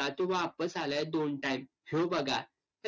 वापस आलाय दोन time ह्यो बघा.